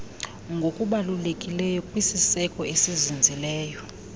ngokubalulekileyo kwisieko esizinzileyo